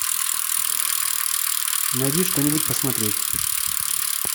найди что нибудь посмотреть